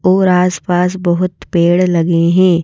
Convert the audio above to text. और आसपास बहुत पेड़ लगे हैं।